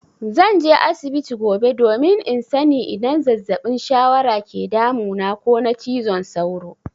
Zan je asibiti gobe domin in sani idan zazzabin shawara ke damuna ko na cizon sauro.